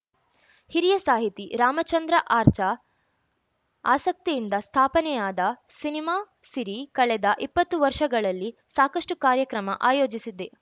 ಹಿರಿಯ ಸಾಹಿತಿ ರಾಮಚಂದ್ರ ಆರ್ಚಾ ಆಸಕ್ತಿಯಿಂದ ಸ್ಥಾಪನೆಯಾದ ಸಿನಿಮಾ ಸಿರಿ ಕಳೆದ ಇಪ್ಪತ್ತು ವರ್ಷಗಳಲ್ಲಿ ಸಾಕಷ್ಚು ಕಾರ್ಯಕ್ರಮ ಆಯೋಜಿಸಿದೆ